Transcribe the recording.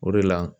O de la